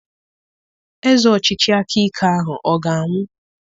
Eze ọchịchị aka ike ahụ ọ ga-anwụ?